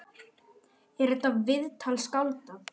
Er þetta viðtal skáldað?